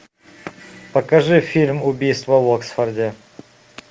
покажи фильм убийство в оксфорде